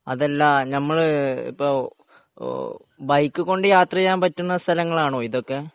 അതല്ല നമ്മളിപ്പോൾ ബൈക്കും കൊണ്ട് യാത്ര ചെയ്യാൻ പറ്റുന്ന സ്ഥലങ്ങളാണോ ഇതൊക്കെ